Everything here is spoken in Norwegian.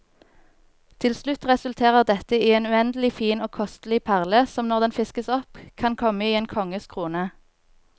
Til slutt resulterer dette i en uendelig fin og kostelig perle, som når den fiskes opp kan komme i en konges krone.